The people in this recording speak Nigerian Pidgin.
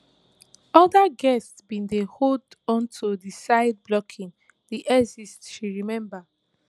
oda guests bin dey hold on to di side blocking di exit she remember